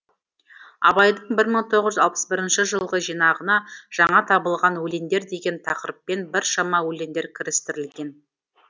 абайдың бір мың тоғыз жүз алпыс бірінші жылғы жинағына жаңа табылған өлеңдер деген тақырыппен біршама өлеңдер кірістірілген